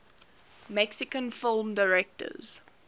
mexican film directors